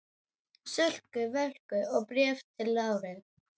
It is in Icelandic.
Sölku Völku og Bréfi til Láru.